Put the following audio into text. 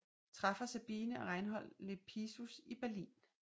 Træffer Sabine og Reinhold Lepsius i Berlin